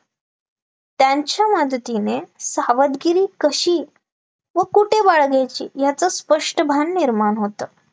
त्यांच्या मदतीने सावधगिरी कशी व कुठे बाळगायची याचं स्पष्ट भान निर्माण होतं